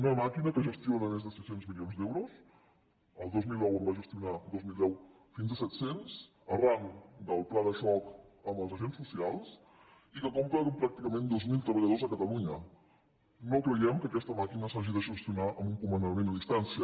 una màquina que gestiona més de sis cents milions d’euros el dos mil deu en va gestionar fins a set cents arran del pla de xoc amb els agents socials i que compta pràcticament amb dos mil treballadors a catalunya no creiem que aquesta màquina s’hagi de gestionar amb un comandament a distància